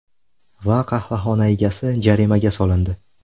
Va qahvaxona egasi jarimaga solindi.